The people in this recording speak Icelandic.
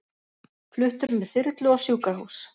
Fluttur með þyrlu á sjúkrahús